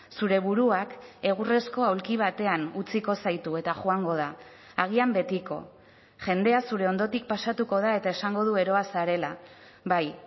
zure buruak egurrezko aulki batean utziko zaitu eta joango da agian betiko jendea zure ondotik pasatuko da eta esango du eroa zarela bai